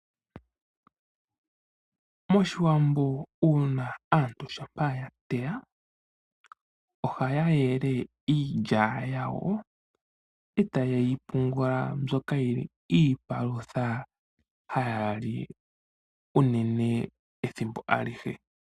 MOshiwambo aantu shampa ya teya ohaya yele iilya yawo, e taye yi pungula mbyoka yi li iipalutha haya li unene ethimbo alihe.